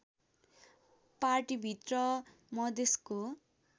पार्टीभित्र मधेसको